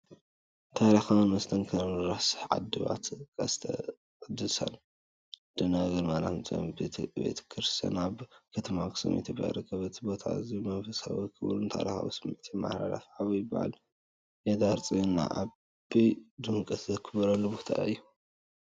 ታሪኻዊን መስተንክርን "ሪስ ዓድባራት ቀድስተ ቅድሳን ደንገል ማርያም ፅዮን" ቤተ ክርስቲያን ኣብ ከተማ ኣክሱም ኢትዮጵያ ይርከብ። እቲ ቦታ ኣዝዩ መንፈሳዊ፣ ክቡርን ታሪኻዊን ስምዒት የመሓላልፍ። ዓመታዊ በዓል የዳር ፅዮን ብዓቢ ድምቀት ዝኽበርሉ ቦታ እውን እዩ።